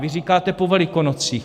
Vy říkáte po Velikonocích.